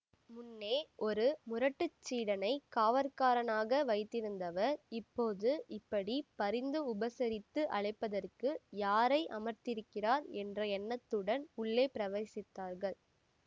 முன்னே ஒரு முரட்டுச் சீடனைக் காவற்காரனாக வைத்திருந்தவர் இப்போது இப்படி பரிந்து உபசரித்து அழைப்பதற்கு யாரை அமர்த்தியிருக்கிறார் என்ற எண்ணத்துடன் உள்ளே பிரவேசித்தார்கள்